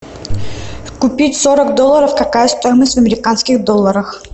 купить сорок долларов какая стоимость в американских долларах